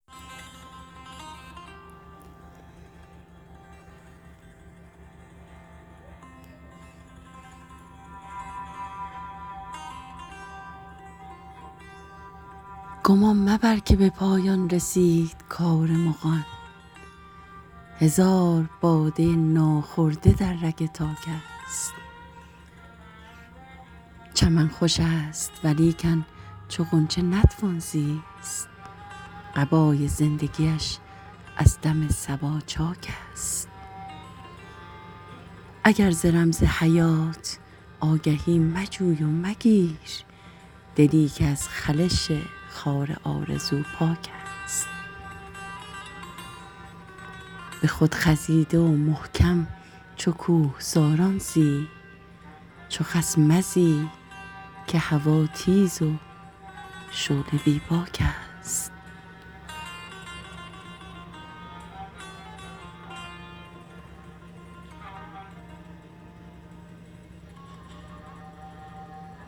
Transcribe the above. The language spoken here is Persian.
گمان مبر که به پایان رسید کار مغان هزار باده ناخورده در رگ تاک است چمن خوش است ولیکن چو غنچه نتوان زیست قبای زندگیش از دم صبا چاک است اگر ز رمز حیات آگهی مجوی و مگیر دلی که از خلش خار آرزو پاک است به خود خزیده و محکم چو کوهساران زی چو خس مزی که هوا تیز و شعله بی باک است